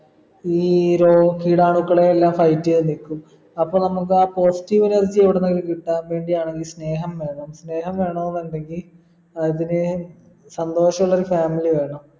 ഈ രോ കിടാണുക്കളെയെല്ലാം സഹിച്ചേ നിക്കു അപ്പോൾ നമ്മക്കാ positive energy എവിടുന്നെങ്കി കിട്ടാൻ വേണ്ടി ആണേലും സ്നേഹം വേണം വേണോന്നുണ്ടെങ്കി അതിന് സന്തോഷുള്ളൊരു family വേണം